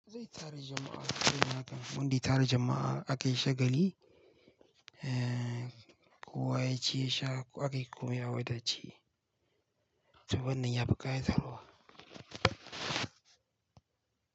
Zai tara jama'a sabida haka, wanda ya tara jama'a akai shagali, eh kowa yaci yasha akai a wadace to wannnan yafi kayatarwa.